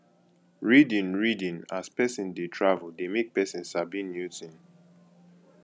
reading reading as person dey travel de make persin sabi new thing